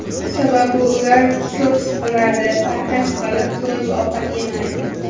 Sababi ular ko‘p siqiladi, parhez qilib, to‘yib ovqat yemaydi.